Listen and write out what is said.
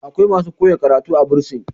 akwai masu koya karatu a bursin